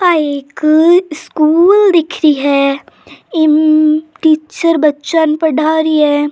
आ एक स्कूल दिख रही है इन टीचर बच्चा ने पढ़ा रही है।